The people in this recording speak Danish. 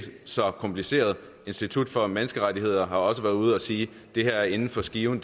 så kompliceret institut for menneskerettigheder har også været ude at sige at det her er inden for skiven